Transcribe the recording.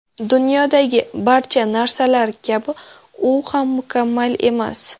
Dunyodagi barcha narsalar kabi u ham mukammal emas.